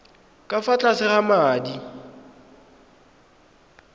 ka fa tlase ga madi